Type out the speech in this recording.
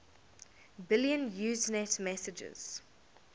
billion usenet messages